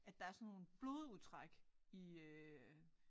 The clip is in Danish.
At der er sådan nogle blodudtræk i øh